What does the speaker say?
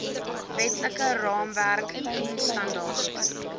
wetlike raamwerk diensstandaard